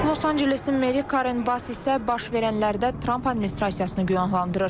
Los Ancelesin Meri Karen Bass isə baş verənlərdə Tramp administrasiyasını günahlandırır.